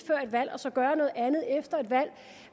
valg og så gøre noget andet efter et valg